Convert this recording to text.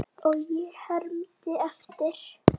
Og ég hermdi eftir.